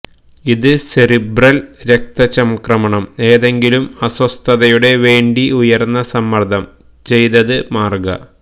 ഇത് സെറിബ്രൽ രക്തചംക്രമണം ഏതെങ്കിലും അസ്വസ്ഥതയുടെ വേണ്ടി ഉയർന്ന സമ്മർദ്ദം ചെയ്തത് മാർഗ